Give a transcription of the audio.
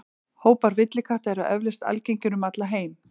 Hópar villikatta eru eflaust algengir um allan heim.